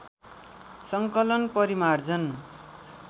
सङ्कलन परिमार्जन